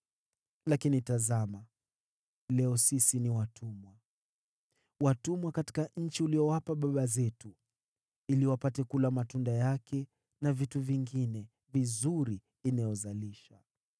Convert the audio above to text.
“Lakini tazama, sisi ni watumwa leo, watumwa katika nchi uliyowapa baba zetu ili wapate kula matunda yake na vitu vingine vizuri inayozalisha.